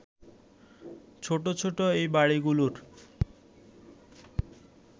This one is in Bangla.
ছোট ছোট এই বাড়িগুলোর